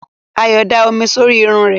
Ayọ̀ da omi sórí irun rẹ̀.